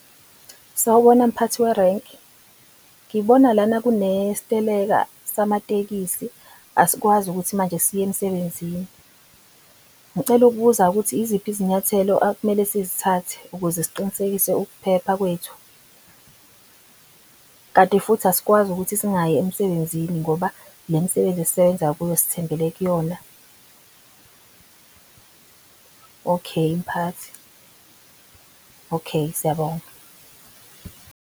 Sawubona mphathi werenki ngibona lana kune siteleka samatekisi asikwazi ukuthi manje siye emsebenzini. Ngicela ukubuza-ke ukuthi iziphi izinyathelo akumele sizithathe ukuze siqinisekise ukuphepha kwethu. Kanti futhi asikwazi ukuthi singayi emsebenzini ngoba le misebenzi esisebenza kuyo sithembele kuyona. Okheyi mphathi. Okheyi siyabonga.